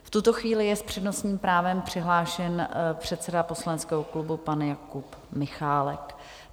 V tuto chvíli je s přednostním právem přihlášen předseda poslaneckého klubu pan Jakub Michálek.